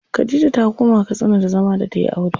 Khadija ta koma Katsina da zama da tayi aure.